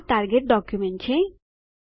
આ target document છે